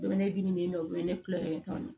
U bɛ ne dimi u bɛ ne kulonkɛ kan